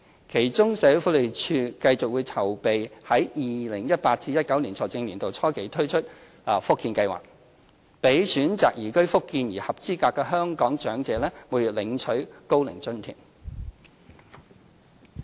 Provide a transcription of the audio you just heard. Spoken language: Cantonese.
其中，社署會繼續籌備在 2018-2019 財政年度初期推出"福建計劃"，讓選擇移居福建的合資格香港長者每月領取高齡津貼。